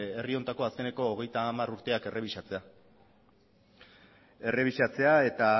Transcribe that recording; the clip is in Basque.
herri honetako azkeneko hogeita hamar urteak errebisatzea errebisatzea eta